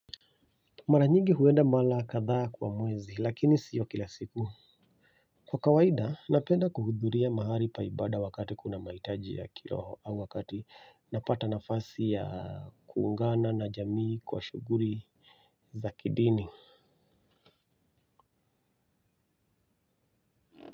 Mara nyingi huenda mara kadhaa kwa mwezi lakini sio kila siku. Kwa kawaida napenda kuhudhuria mahali pa ibada wakati kuna mahitaji ya kiroho au wakati napata nafasi ya kuungana na jamii kwa shughuli za kidini.